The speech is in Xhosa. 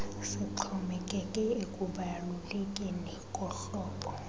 sixhomekeke ekubalulekeni kohlobo